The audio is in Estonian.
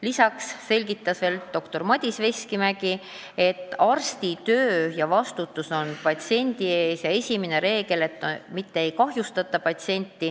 Lisaks selgitas doktor Madis Veskimägi, et arsti töö on vastutus patsiendi ees ja esimene reegel on, et ei tohi patsienti kahjustada.